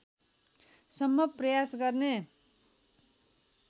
सम्भव प्रयास गर्ने